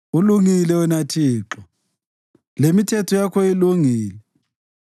Ulungile wena Thixo, lemithetho yakho ilungile.